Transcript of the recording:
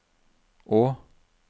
å